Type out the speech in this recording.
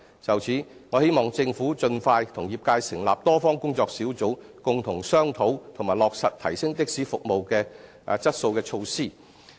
就此，我希望政府盡快與業界成立多方工作小組，共同商討及落實提升的士服務質素的措施。